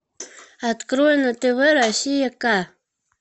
открой на тв россия ка